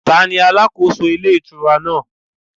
Tani alàkóso ilé ìtura náà?